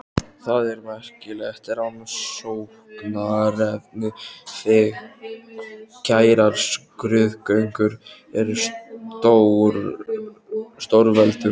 Það er merkilegt rannsóknarefni hve kærar skrúðgöngur eru stórveldum.